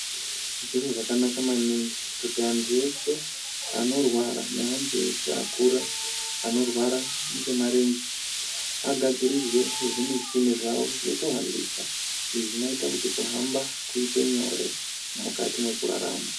Zviro zvakanaka maningi kuti antu ese anorwara ne antu eshe akura ano rwara ngemarenje agadzirirwe nezvimichina zvawo zvikuhambisa izvo zvinoita kuti kuhamba kuite nyore mukati mekurarama.